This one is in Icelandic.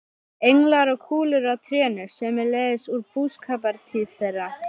Englar og kúlur á trénu, sömuleiðis úr búskapartíð þeirra.